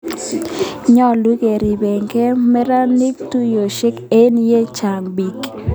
Nyalu koripekei meranik tuyosyek eng' ye chang piik